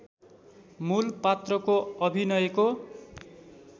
मूल पात्रको अभिनयको